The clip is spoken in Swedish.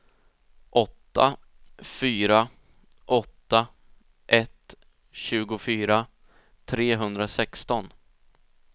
åtta fyra åtta ett tjugofyra trehundrasexton